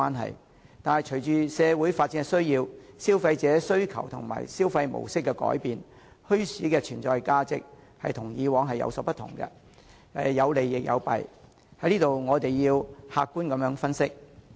可是，隨着社會的發展需要，消費者的需求及消費模式的改變，墟市的存在價值已出現了變化，有利亦有弊，我們要客觀作出分析。